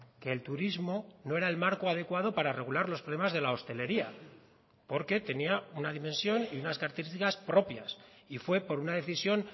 que el turismo no era el marco adecuado para regular los problemas de la hostelería porque tenía una dimensión y unas características propias y fue por una decisión